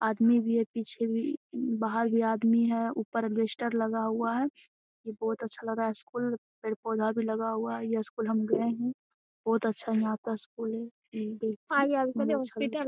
आदमी भी है पीछे भी बाहर भी आदमी है। ऊपर अलबेस्टर लगा हुआ है। ये बहुत अच्छा लग रहा है स्कूल पेड़-पौधा भी लगा हुआ है। ये स्कूल हम गए हैं बहुत अच्छा यहाँ पर स्कूल है। --